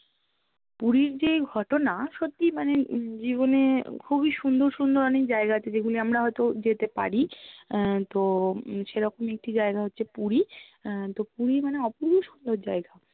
পুরির যে ঘটনা, সত্যি মানে জীবনে খুবই সুন্দর সুন্দর ওনেক জায়গা আছে যেগুলো আমরা হয়ত যেতে পারি আহ তো সেরকম একটি জায়গা হচ্ছে পুরি আহ তো পুরি মানে অপুর্ব সুন্দর জায়গা